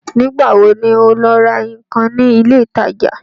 Nígbà wo ni ọ ọ́ lọ ra ǹkan ní ilé ìtajà?